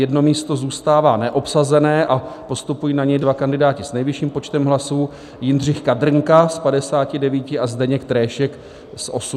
Jedno místo zůstává neobsazené a postupují na něj dva kandidáti s nejvyšším počtem hlasů, Jindřich Kadrnka s 59 a Zdeněk Tréšek s 85 hlasy.